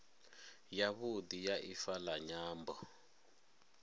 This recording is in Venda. yavhudi ya ifa la nyambo